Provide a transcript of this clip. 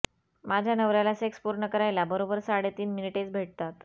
माझ्या नवर्याला सेक्स पुर्ण करायला बरोबर साडेतीन मिनीटेच भेटतात